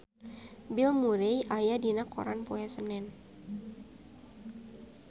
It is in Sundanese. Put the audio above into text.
Bill Murray aya dina koran poe Senen